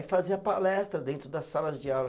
Fazia palestra dentro das salas de aula.